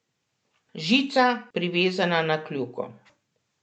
Žica, privezana na kljuko.